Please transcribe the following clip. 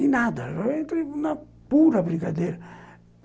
E nada, eu entrei na pura brincadeira.